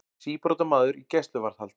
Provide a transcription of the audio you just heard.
Síbrotamaður í gæsluvarðhald